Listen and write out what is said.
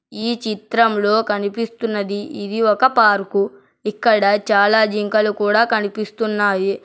ఈ చిత్రంలో కనిపిస్తున్నది ఇది ఒక పార్కు ఇక్కడ చాలా జింకలు కూడా కనిపిస్తున్నాయి.